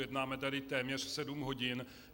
Jednáme tady téměř sedm hodin.